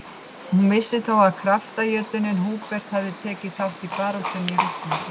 Hún vissi þó að kraftajötunninn Hubert hefði tekið þátt í baráttunni í Rússlandi.